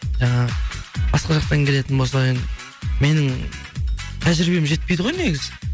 жаңағы басқа жақтан келетін болса енді менің тәжірибем жетпейді ғой негізі